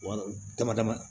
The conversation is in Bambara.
Wa dama dama